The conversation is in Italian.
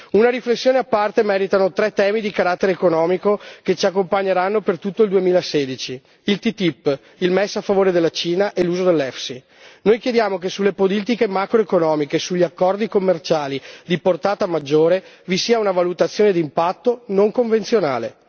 Una riflessione a parte meritano tre temi di carattere economico che ci accompagneranno per tutto il 2016 il TTIP, il MES a favore della Cina e l'uso del FEIS. Noi chiediamo che sulle politiche macro economiche e sugli accordi commerciali di portata maggiore vi sia una valutazione d'impatto non convenzionale.